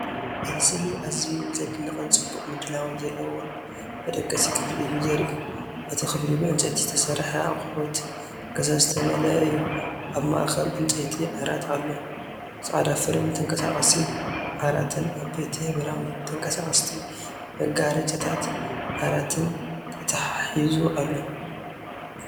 እቲ ስእሊ ኣዝዩ ዝድነቕን ጽቡቕ ምድላዋት ዘለዎን መደቀሲ ክፍሊ እዩ ዘርኢ። እቲ ክፍሊ ብዕንጨይቲ ዝተሰርሐ ኣቑሑት ገዛ ዝተመልአ እዩ። ኣብ ማእከል ዕንጨይቲ ዓራት ኣሎ፣ ጻዕዳ ፍሬም ተንቀሳቓሲ ዓራትን ዓበይቲ ሕብራዊ ተንቀሳቐስቲ መጋረጃታት ዓራትን ተተሓሒዙ ኣሎ።